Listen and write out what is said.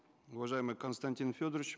уважаемый константин федорович